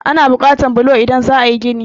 Ana buƙatan bulo idan za a yí gini.